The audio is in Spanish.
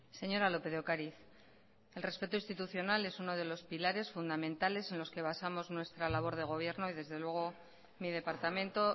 señora lópez de ocariz el respeto institucional es uno de los pilares fundamentales en los que basamos nuestra labor de gobierno y desde luego mi departamento